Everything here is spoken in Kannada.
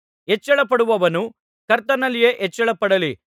ಹೆಚ್ಚಳಪಡುವವನು ಕರ್ತನಲ್ಲಿಯೇ ಹೆಚ್ಚಳಪಡಲಿ